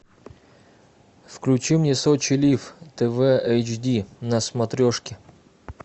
включи мне сочи лив тв эйч ди на смотрешке